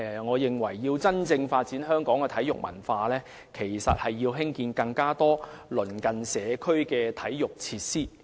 我認為，要真正發展香港的體育文化，應要興建更多鄰近社區的體育設施。